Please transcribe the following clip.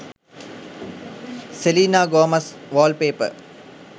selena gomez wallpaper